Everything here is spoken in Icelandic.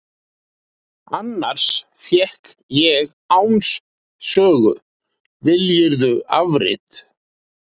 Annars fékk ég Áns sögu, viljirðu afrit.